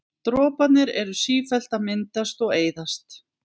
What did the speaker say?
Droparnir eru sífellt að myndast og eyðast.